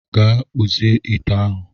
Gaa kpụzie ite ahụ